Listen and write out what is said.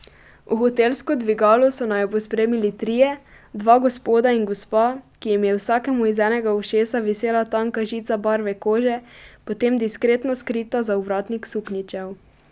V hotelsko dvigalo so naju pospremili trije, dva gospoda in gospa, ki jim je vsakemu iz enega ušesa visela tanka žica barve kože, potem diskretno skrita za ovratnik suknjičev.